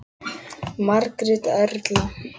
Margrét Erla.